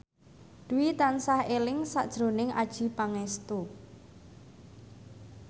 Dwi tansah eling sakjroning Adjie Pangestu